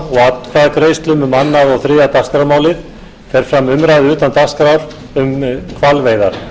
atkvæðagreiðslum um annað og þriðja dagskrármálið fer fram umræða utan dagskrár um hvalveiðar málshefjandi er háttvirtur þingmaður jón